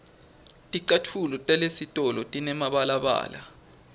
ticatfulo talesitolo tinemibalabala